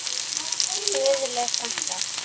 Guðlaug frænka.